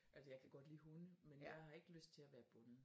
Altså jeg kan godt lide hunde men jeg har ikke lyst til at være bundet